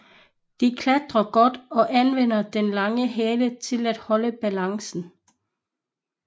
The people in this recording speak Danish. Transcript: De klatrer godt og anvender den lange hale til at holde balancen